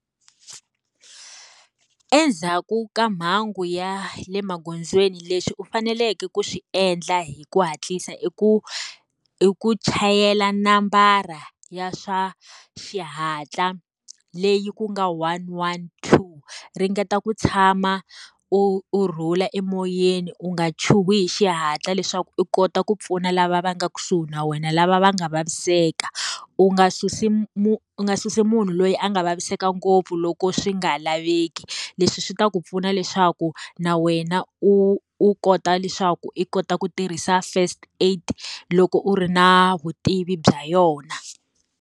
Endzhaku ka mhangu ya le magondzweni leswi u faneleke ku swi endla hi ku hatlisa i ku ku chayela nambara ya swa xihatla, leyi ku nga one one two. Ringeta ku tshama u u rhula emoyeni u nga chuhi hi xihatla leswaku u kota ku pfuna lava va nga kusuhi na wena lava va nga vaviseka. U nga susi u nga susi munhu loyi a nga vaviseka ngopfu loko swi nga laveki. Leswi swi ta ku pfuna leswaku na wena u u kota leswaku i kota ku tirhisa first aid, loko u ri na vutivi bya yona.